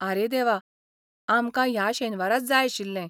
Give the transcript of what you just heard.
आरे देवा, आमकां ह्या शेनवाराच जाय आशिल्लें.